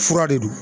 Fura de don